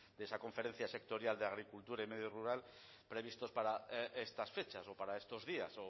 de esa conferencia sectorial de agricultura y medio rural previstos para estas fechas o para estos días